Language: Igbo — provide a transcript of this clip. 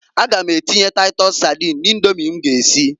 A ga m atinye taitus sadin na Idomi m ga esi.